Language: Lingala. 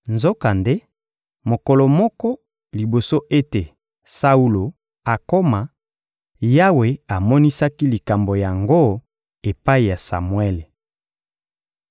Nzokande, mokolo moko liboso ete Saulo akoma, Yawe amonisaki likambo yango epai ya Samuele.